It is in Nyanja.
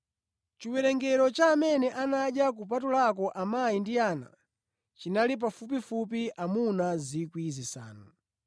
Chiwerengero cha amene anadya kupatulako amayi ndi ana chinali pafupifupi amuna 5,000.